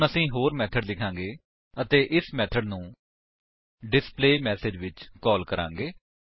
ਹੁਣ ਅਸੀ ਹੋਰ ਮੇਥਡ ਲਿਖਾਂਗੇ ਅਤੇ ਇਸ ਮੇਥਡ ਨੂੰ ਡਿਸਪਲੇਮੈਸੇਜ ਵਿੱਚ ਕਾਲ ਕਰਾਂਗੇ